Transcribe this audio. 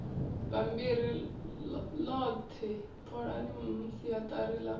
bammbiri ḽoḓhe ṱolani siaḓari ḽa